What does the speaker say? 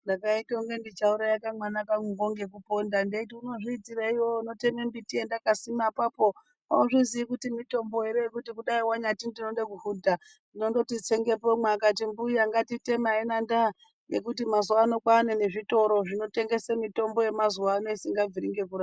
Ndakaita kungendichauraya kamwana kanguko ngekuponda hendaiti unozviitirei iwewe unotemerei miti yendakasima, hauzviziyi here kuti mitombo yekuti dai wanyati unodekuhudha unondoti tsengepo womwa, azvinanda ngekuti mazuvano kwaanemitombo nezvitoro zvinotengese mitombo yemazuvano isingabviri ngekurapa.